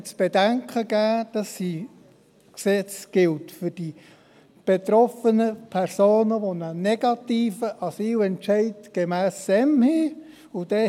Daher möchte ich zu bedenken geben, dass dieses Gesetz für die betroffenen Personen gilt, die einen negativen Asylentscheid gemäss SEM haben.